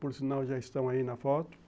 Por sinal, já estão aí na foto.